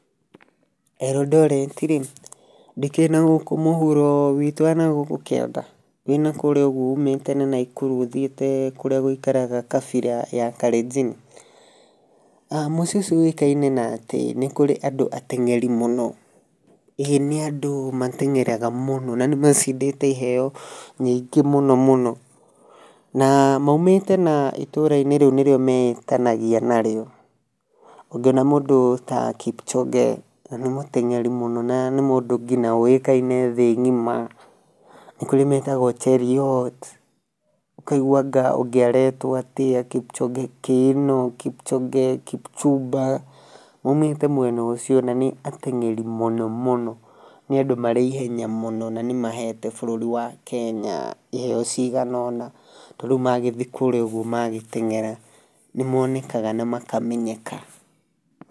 Eldoret-rĩ, ndĩkĩrĩ nagũkũ mũhũro wĩtũ wanagokũ kĩanda wenakũrĩa ũgũo ũmĩte na naĩkũrũ ũthĩtĩe kũrĩa gwĩkaraga kabĩra ya karenjĩnĩ. Mũcĩĩe ũcĩo ũwekanĩe na atĩ nĩ kũrĩ na andũ atengerĩe mũno. Eeh nĩ andũ matengeraga mũno na nĩmacĩndete ĩheo nyĩngo mũno mũno. Na maũmĩte na ĩtora rĩũ nĩrĩo meetanagĩa narĩo. Ungĩona mũndũ ta kipchoge nĩ mũtengerĩ mũno na nĩ mũndũ ngĩtha ũwekaĩnĩ thĩĩ gĩma. Nĩ kũrĩ metagũo Cherĩyot ũkaĩgũa aga ũgĩaretwo atĩa kĩpchoge keĩno, kĩpchoge kĩpchũmba. Maũmĩte mwena ũcĩo na nĩ atengerĩ mũno mũno nĩ andũ marĩ ĩhenya mũno, na nĩ mahete bũrũrĩ wa kenya ĩheo cĩganona tũrĩũ mathĩe kũrĩa ũgũo magĩtengera nĩmonekanaga na makamenyeka.